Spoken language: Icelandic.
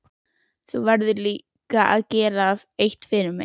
Þú verður líka að gera eitt fyrir mig.